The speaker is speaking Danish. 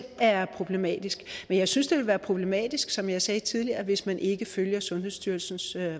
er problematisk men jeg synes det vil være problematisk som jeg sagde tidligere hvis man ikke følger sundhedsstyrelsens